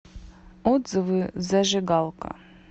отзывы зажигалка